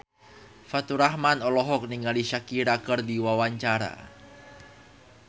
Faturrahman olohok ningali Shakira keur diwawancara